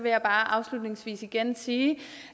jeg bare afslutningsvis igen sige